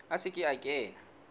a se ke a kena